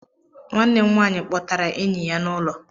Nwanne m nwaanyị kpọtara enyi ya n'ụlọ